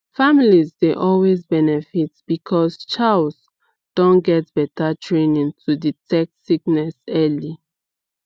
families dey always benefit because chws don get better training to detect sickness early